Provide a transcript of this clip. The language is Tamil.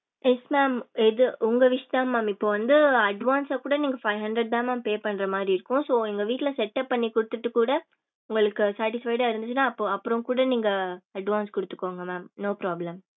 yes mam இது உங்க wish தா mam இப்போ வந்து advance ஆஹ் கூட நீங்க five hundred த mam pay பண்ற மாதிரி இருக்கும் so உங்க வீட்டுல setup பண்ணிகுடுதுடு குட உங்களுக்கு satisfied ஆஹ் இருந்துச்சுன அப்பறம் கூட நீங்க advance குடுதுகொங்க mam no problem